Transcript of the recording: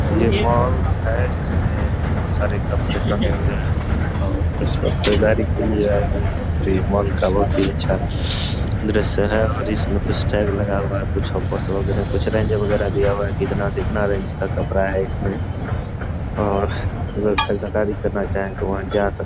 ये मॉल है जिसमें बहुत सारे कपड़े टंगे हुए है और कुछ लोग खरीदारी के लिए आए हुए हैं और ये मॉल का बहुत ही अच्छा दृश्य है और इसमें कुछ टैग लगा हुआ है कुछ में फोटो वगरह कुछ रेंज वगरह दिया हुआ है इतना से इतना रेंज का कपड़ा है इसमें और जो लोग खरीदारी करना चाहे तो वहां जा सक --